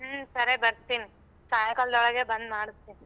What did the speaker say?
ಹ್ಮ ಸರಿ ಬರ್ತೀನಿ ಸಾಯಂಕಾಲದೊಳಗೆ ಬಂದ್ ಮಾಡಸ್ತಿನಿ.